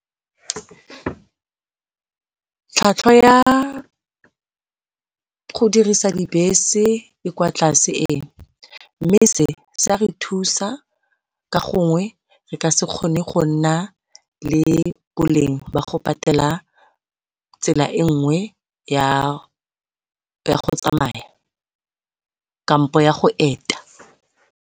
Tlhwatlhwa ya go dirisa dibese e kwa tlase ee, mme se se a re thusa ka gongwe re ka se kgone gonna le boleng go patela tsela e nngwe ya go tsamaya kampo ya go eta.